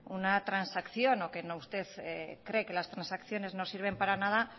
una transacción o que usted cree que las transacciones no sirven para nada